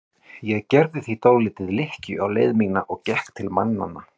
Ég gerði því dálitla lykkju á leið mína og gekk til mannanna.